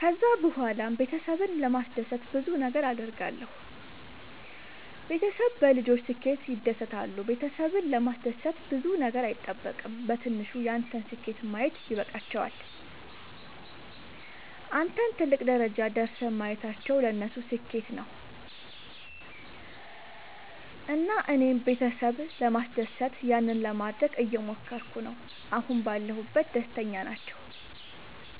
ከዛ ብኋላም ቤተሰብን ለማስደሰት ብዙ ነገር አድርጋለሁ። ቤተሰብ በልጆች ስኬት ይደሰታሉ ቤተሰብን ለማስደሰት ብዙ ነገር አይጠበቅም በትንሹ ያንተን ስኬት ማየት ይበቃቸዋል። አንተን ትልቅ ደረጃ ደርሰህ ማየታቸው ለነሱ ስኬት ነው። እና እኔም ቤተሰብ ለማስደሰት ያንን ለማደረግ እየሞከርኩ ነው አሁን ባለሁበት ደስተኛ ናቸው።